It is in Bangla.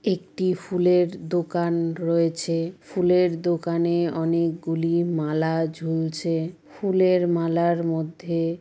একটি ফুলের দোকান রয়েছে । ফুলের দোকানে অনেকগুলি মালা ঝুলছে । ফুলের মালার মধ্যে--